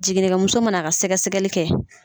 Jiginnikɛmuso mana a ka sɛgɛ sɛgɛli kɛ.